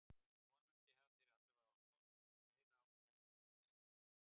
Vonandi hafa þeir allavega horft meira á þær en veskið.